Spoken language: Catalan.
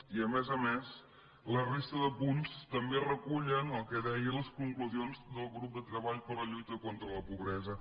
i a més a més la resta de punts també recullen el que deien les conclusions del grup de treball per la lluita contra la pobresa